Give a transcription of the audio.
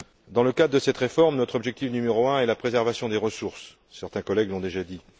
Dans le cadre de cette réforme, notre objectif numéro 1 est la préservation des ressources certains collègues l'ont déjà dit.